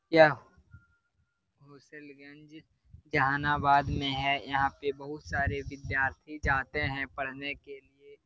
मुसेलगंज जहानाबाद में है यहां पर बहुत सारे विद्यार्थी जाते हैं पढ़ने के लिए।